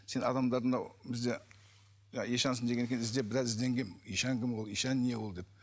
сен адамдарды мынау бізде ишансың дегеннен кейін іздеп біраз ізденгенмін ишан кім ишан не ол деп